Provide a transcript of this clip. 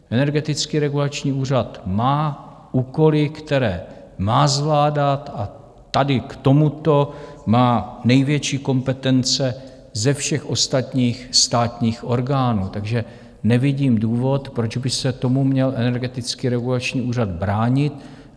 Energetický regulační úřad má úkoly, které má zvládat, a tady k tomuto má největší kompetence ze všech ostatních státních orgánů, takže nevidím důvod, proč by se tomu měl Energetický regulační úřad bránit.